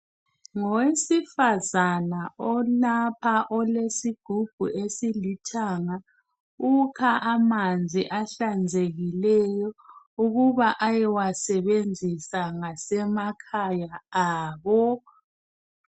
Ngowesifazana olapha olesigubhu esilithanga ukha amanzi ahlanzekileyo ukuba ayewasebenzisa ngasemakhaya abo.